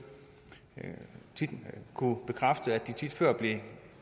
kunne bekræfte at de tit før